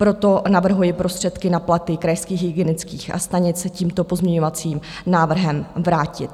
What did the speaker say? Proto navrhuji prostředky na platy krajských hygienických stanic tímto pozměňovacím návrhem vrátit.